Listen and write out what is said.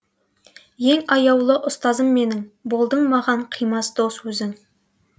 ең аяулы ұстазым менің болдың маған қимас дос өзің